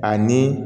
Ani